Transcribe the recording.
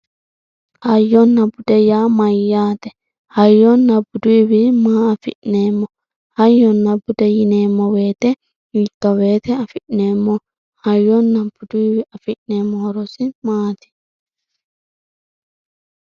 Hayyona bude yaa mayate hayyona buduyiwii maa afinemo hayyona bude yinemo woyite hikawoyite afinemo hayona buduyiwi afinemo horosi maati.